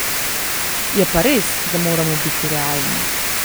Je pa res, da moramo biti realni.